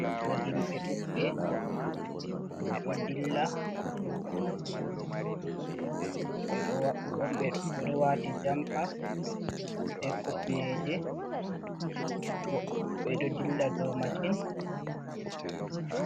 Ɗo bo himɓe ɗuɗɓe, ɓe ɗo dilla, ɓe ɗo wati jompa be kufneje, ɓe ɗo dilla dow mashin.